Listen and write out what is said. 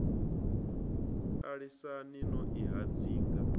a lisani no i hadzinga